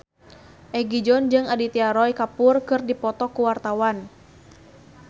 Egi John jeung Aditya Roy Kapoor keur dipoto ku wartawan